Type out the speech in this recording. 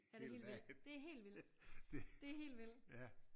Ja det er helt vildt det er helt vildt det helt vildt